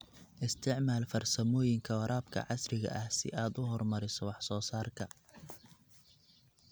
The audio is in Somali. Isticmaal farsamooyinka waraabka casriga ah si aad u horumariso wax soo saarka.